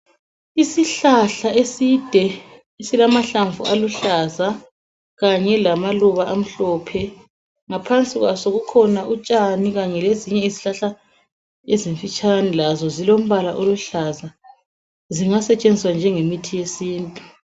Isihlahla eside silamahlamvu aluhlaza kanye lamaluba amhlophe ngaphansi kwaso kukhona utshani kanye lezinye izihlahla ezifitshane lazo zilombala oluhlaza zingasetshenziswa njongomuthi wesintu.